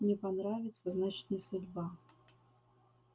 не понравится значит не судьба